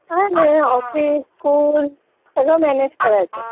काही नाही office, school सगळं मॅनेज करायचं